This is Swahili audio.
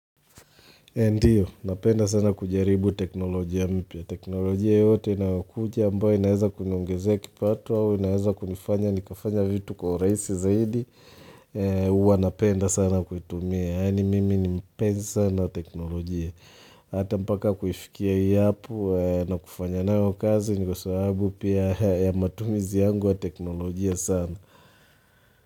Ndiyo, napenda sana kujaribu teknolojia mpya. Teknolojia yote inayokuja ambayo inaweza kuniongezea kipatu au inaweza kunifanya, nikafanya vitu kwa rahisi zaidi, huwa napenda sana kuitumia. Yaani mimi ni mpenzi sana wa teknolojia. Hata mpaka kufikia hii hapo na kufanya nayo kazi, ni kwa sababu pia ya matumizi yangu wa teknolojia sana.